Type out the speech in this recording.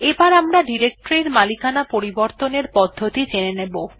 এবার আমরা ডিরেকটরি এর মালিকানা পরিবর্তনের পদ্ধতি জেনে নেব